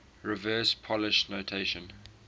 reverse polish notation